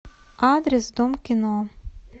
адрес дом кино